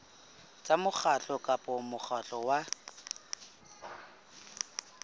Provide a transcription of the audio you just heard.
tsa mokgatlo kapa mokgatlo wa